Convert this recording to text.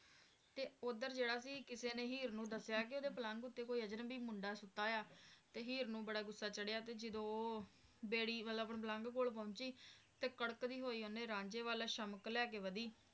ਤੇ ਓਧਰ ਜਿਹੜਾ ਸੀ ਕਿਸੀ ਨੇ ਹੀਰ ਨੂੰ ਦੱਸਿਆ ਕਿ ਓਹਦੇ ਪਲੰਘ ਉੱਤੇ ਕੋਈ ਅਜਨਬੀ ਮੁੰਡਾ ਸੁੱਤਾ ਹੋਇਆ ਤੇ ਹੀਰ ਨੂੰ ਬੜਾ ਗੁੱਸਾ ਚੜ੍ਹਿਆ ਤੇ ਫਰ ਉਹ ਬੇੜੀ ਮਤਲਬ ਪਲੰਘ ਵੱਲ ਪਹੁੰਚੀ ਤੇ ਕੰਕੰਡੀ ਹੋਈ ਓਹਨੇ ਰਾਂਝੇ ਵਲ ਉਹ ਸ਼ਮਕ ਲੈ ਕੇ ਵਧੀ